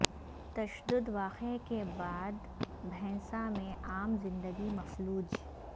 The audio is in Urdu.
تشدد واقعہ کے بعد بھینسہ میں عام زندگی مفلوج